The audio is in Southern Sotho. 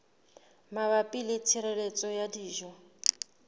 mabapi le tshireletso ya dijo